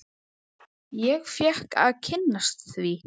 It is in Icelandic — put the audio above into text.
Ég fékk að kynnast því.